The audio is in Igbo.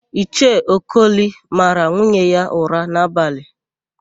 Ichie Okoli mara nwunye ya ụra n'abalị.